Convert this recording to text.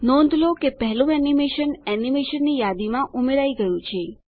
નોંધ લો કે પહેલું એનીમેશન એનીમેશનની યાદીમાં ઉમેરાઈ ગયું છે